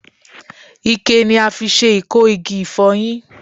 Ikẹ ni a fi se iko igi ifoyin